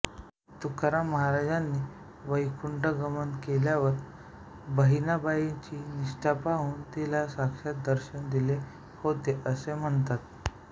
तुकाराममहाराजांनीं वैकुंठगमन केल्यावर बहिणाबाईची निष्ठा पाहून तिला साक्षात दर्शन दिले होते असे म्हणतात